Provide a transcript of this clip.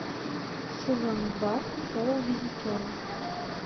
сезон два шоу визитеры